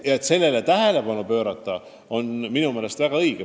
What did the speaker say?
Ja sellele tähelepanu pöörata on väga õige.